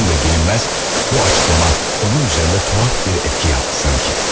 Nədəndir bilinməz, bu açıqlama onun üzərində tuhaf bir etki yaptı sanki.